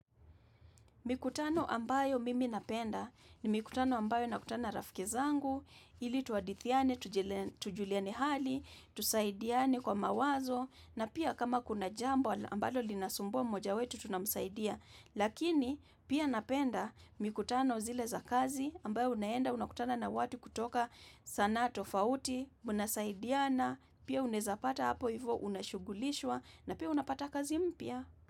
Mikutano ambayo mimi napenda ni mikutano ambayo nakutana rafke zangu, ili tuhadithiani, tujuliane hali, tusaidiane kwa mawazo na pia kama kuna jambo ambalo linasumbua moja wetu tunamsaidia. Lakini pia napenda mikutano zile za kazi ambayo unaenda unakutana na watu kutoka sanaa tofauti, unasaidiana, pia unaweza pata hapo hivyo unashugulishwa na pia unapata kazi mpia.